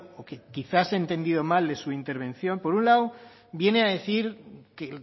o que quizás he entendido mal en su intervención por un lado viene a decir que